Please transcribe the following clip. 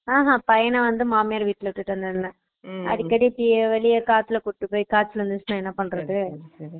ஆஹான் பையனா வந்து மாமியார் விட்டுல விட்டுட்டு வந்தாங்க Noise அடிக்கடி வெளில கூப்பிட்டு போய் காய்ச்சல் வந்துருச்சுனா என்ன பண்றது